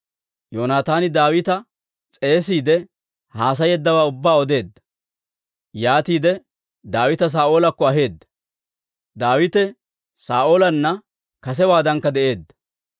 Yoonataani Daawita s'eesiide, haasayeeddawaa ubbaa odeedda. Yaatiide Daawita Saa'oolakko aheedda; Daawite Saa'oolanna kasewaadankka de'eedda.